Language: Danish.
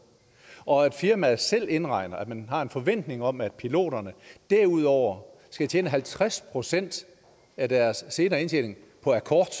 og firmaet selv indregner at man har en forventning om at piloterne derudover skal tjene halvtreds procent af deres senere indtjening på akkord